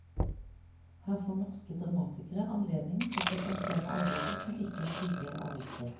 Her får norske dramatikere anledning til å presentere arbeider som ikke tidligere er oppført.